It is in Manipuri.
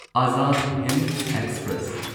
ꯑꯓꯥꯗ ꯍꯤꯟꯗ ꯑꯦꯛꯁꯄ꯭ꯔꯦꯁ